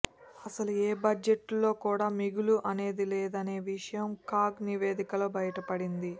అసలు ఏ బడ్జెట్లో కూడా మిగులు అనేది లేదనే విషయం కాగ్ నివేదికలో బయటపడింది